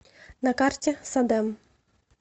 на карте садэм